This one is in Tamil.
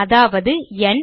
அதாவது ந்